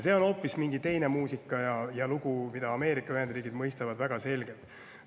See on hoopis teine muusika ja lugu, mida Ameerika Ühendriigid mõistavad väga selgelt.